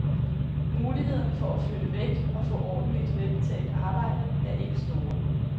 Mulighederne for at flytte væk og få ordentligt velbetalt arbejde er ikke store.